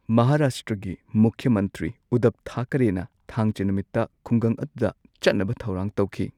ꯃꯍꯥꯔꯥꯁꯇ꯭ꯔꯒꯤ ꯃꯨꯈ꯭ꯌ ꯃꯟꯇ꯭ꯔꯤ ꯎꯗꯙꯕ ꯊꯥꯀꯔꯦꯅ ꯊꯥꯡꯖ ꯅꯨꯃꯤꯠꯇ ꯈꯨꯡꯒꯪ ꯑꯗꯨꯗ ꯆꯠꯅꯕ ꯊꯧꯔꯥꯡ ꯇꯧꯈꯤ꯫